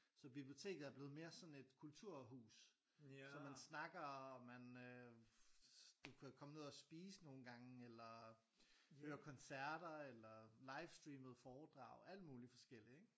Så biblioteket er blevet mere sådan et kulturhus så man snakker og man øh du kan komme ned og spise nogen gange eller høre koncerter eller livestreamede foredrag alt muligt forskelligt ikke?